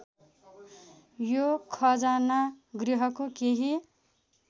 यो खजानागृहको केही